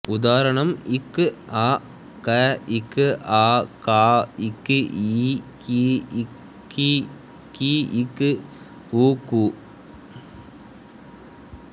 உதாரணம் க் அ க க் ஆ கா க் இ கி க்ஈ கீ க் உ கு